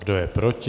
Kdo je proti?